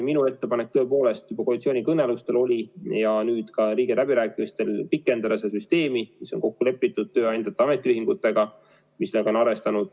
Minu ettepanek tõepoolest juba koalitsioonikõnelustel oli ja oli ka nüüd riigieelarve läbirääkimistel pikendada seda süsteemi, mis on kokku lepitud tööandjate ja ametiühingutega ja millega nad on arvestanud.